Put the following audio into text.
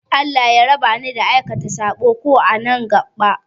Allah ya raba ni da aikata saɓo, ko a nan gaɓa